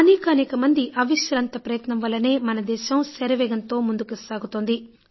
అనేకానేక మంది అవిశ్రాంత ప్రయత్నం వల్లనే మనదేశం శరవేగంతో ముందుకు సాగుతోంది